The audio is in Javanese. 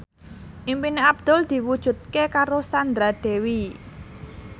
impine Abdul diwujudke karo Sandra Dewi